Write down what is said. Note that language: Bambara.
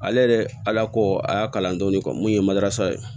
Ale yɛrɛ ala ko a y'a kalan don ni mun ye madasa ye